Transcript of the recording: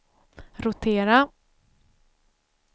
rotera